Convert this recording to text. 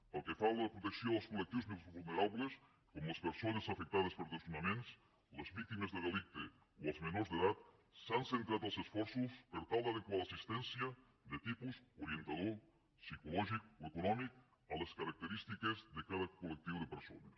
pel que fa a la protecció dels col·lectius més vulnerables com les persones afectades per desnonaments les víctimes de delicte o els menors d’edat s’han centrat els esforços per tal d’adequar l’assistència de tipus orientador psicològic o econòmic a les característiques de cada col·lectiu de persones